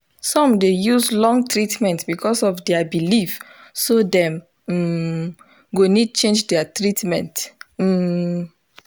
some dey use long treatment because of their belief so them um go need change their treatment. um